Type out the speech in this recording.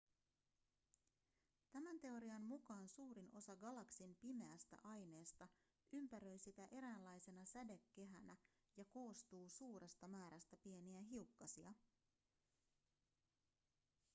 tämän teorian mukaan suurin osa galaksin pimeästä aineesta ympäröi sitä eräänlaisena sädekehänä ja koostuu suuresta määrästä pieniä hiukkasia